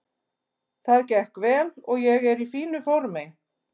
Það gekk vel og ég er í fínu formi.